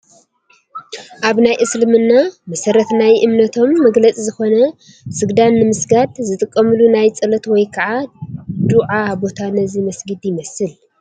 ኣብ ናይ እስልምና መሰረት ናይ እመነቶም መግለፂ ዝኾነ ስግዳን ንምስጋድ ዝጥቀምሉ ናይ ፀሎት ወይ ከዓ ዱዓ ቦታ ነዚ መስጊድ ይመስል፡፡